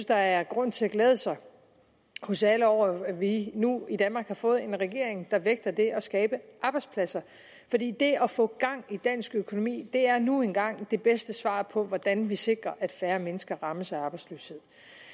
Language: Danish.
der er grund til at glæde sig hos alle over at vi nu i danmark har fået en regering der vægter det at skabe arbejdspladser fordi det at få gang i dansk økonomi er nu engang det bedste svar på hvordan vi sikrer at færre mennesker rammes af arbejdsløshed